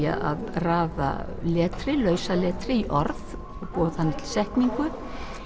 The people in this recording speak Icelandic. að raða lausaletri í orð eða setningu